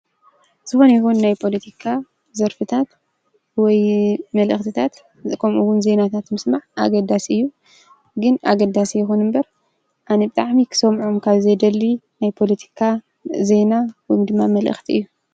ዝኾነ ይኹን ናይ ፖለቲካ ዘርፍታት ወይ መልእኽትታት ከምኡ ውን ዜናታት ምስማዕ አገዳሲ እዩ:: ግን አገዳሲ ይኹን እምበር አነ ብጣዕሚ ክሰምዖም ካብዘይደሊ ናይ ፓለቲካ ዜና ወይድማ መልእኽቲ እዩ::